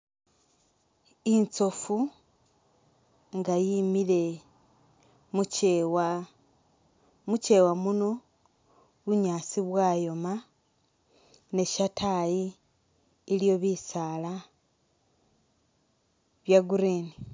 Itsofu nga yimile mukyewa, mukyewa muno bunyaasi bwayoma ne shetayi iliyo bisaala bye green